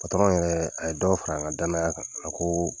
Patɔrɔn yɛrɛ a ye dɔ fara n ka danaya kan a ko